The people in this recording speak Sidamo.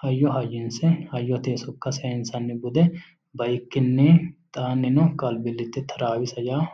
hayyo hayyinsse hayyotenni soka sayiinsanni bude baikiniinno alibillite taraawissa yaa